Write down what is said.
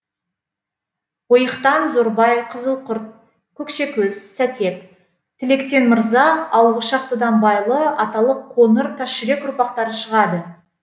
ойықтан зорбай қызылқұрт көкшекөз сәтек тіліктен мырза ал ошақтыдан байлы аталық қоңыр тасжүрек ұрпақтары шығады